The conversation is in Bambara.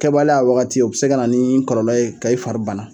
Kɛ baliya a wagati o bi se ka na ni kɔlɔlɔ ye ka i fari bana